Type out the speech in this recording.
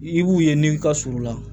I b'u ye ni n ka surunna